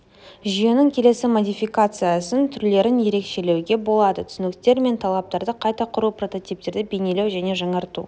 жүйенің келесі модификациясын түрлерін ерекшелеуге болады түсініктер мен талаптарды қайта құру прототиптерді бейнелеу және жаңарту